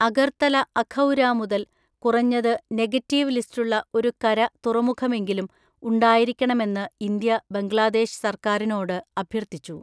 അഗർത്തല അഖൗരാ മുതൽ കുറഞ്ഞത് നെഗറ്റീവ് ലിസ്റ്റുള്ള ഒരു കര തുറമുഖമെങ്കിലും ഉണ്ടായിരിക്കണമെന്ന് ഇന്ത്യ ബംഗ്ലാദേശ് സർക്കാരിനോട് അഭ്യർത്ഥിച്ചു.